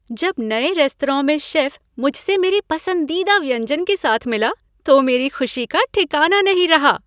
जब नए रेस्तरां में शेफ मुझसे मेरे पसंदीदा व्यंजन के साथ मिला तो मेरी खुशी का ठिकाना नहीं रहा।